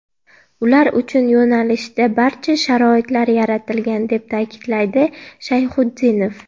Ular uchun yo‘nalishda barcha sharoitlar yaratilgan”, deb ta’kidlaydi Shayxutdinov.